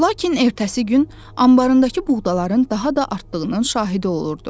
Lakin ertəsi gün anbarındakı buğdaların daha da artdığının şahidi olurdu.